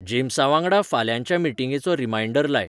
जेम्सावांगडा फाल्यांच्या मिटींगेचो रीमाइन्डर लाय